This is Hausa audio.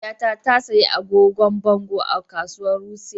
Mahaifiyata ta sayi agogon bango a kasuwar Wuse.